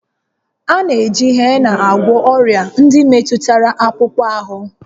A na-eji hena agwọ ọrịa ndị metụtara akpụkpọ ahụ